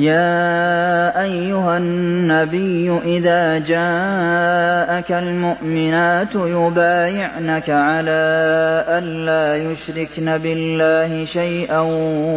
يَا أَيُّهَا النَّبِيُّ إِذَا جَاءَكَ الْمُؤْمِنَاتُ يُبَايِعْنَكَ عَلَىٰ أَن لَّا يُشْرِكْنَ بِاللَّهِ شَيْئًا